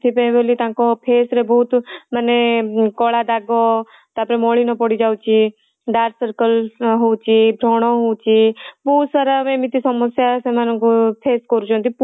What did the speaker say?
ସେଥି ପାଇଁ ବୋଲି ତାଙ୍କ face ରେ ବହୁତ ମାନେ କଳା ଦାଗ ତା ପରେ ମଳିନ ପଡ଼ିଯାଉଚି dark circles ହଉଚି ବ୍ରଣ ହଉଛି ବହୁତ ସାରା ଏମିତି ସବୁ ସମସ୍ୟା ସେମାଙ୍କୁ face କରୁଛନ୍ତି